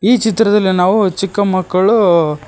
ಈ ಚಿತ್ರದಲ್ಲಿ ನಾವು ಚಿಕ್ಕ ಮಕ್ಕಳು--